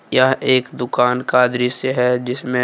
यह एक दुकान का दृश्य हैजिसमें--